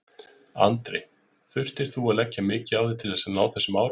Andri: Þurftir þú að leggja mikið á þig til þess að ná þessum árangri?